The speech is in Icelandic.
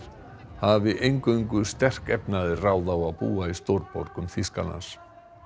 hafi eingöngu sterkefnaðir ráð á að búa í stórborgum Þýskalands